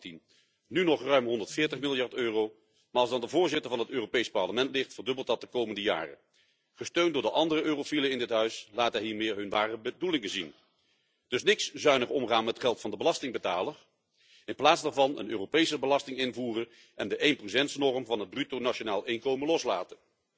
2018. Nu nog ruim 140 miljard EUR, maar als het aan de voorzitter van het Europees Parlement ligt, verdubbelt dat de komende jaren. Gesteund door de andere eurofielen in dit huis, laat hij hiermee hun ware bedoelingen zien. Dus niks zuinig omgaan met geld van de belastingbetaler, in plaats daarvan een Europese belasting invoeren en de 1 norm van het bruto nationaal inkomen loslaten.